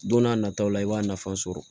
Don n'a nataw la i b'a nafa sɔrɔ